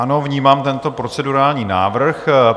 Ano, vnímám tento procedurální návrh.